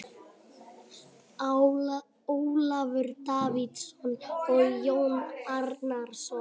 Ólafur Davíðsson og Jón Árnason.